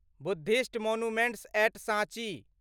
Buddhist monuments at साँची